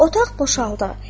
Otaq boşaldı.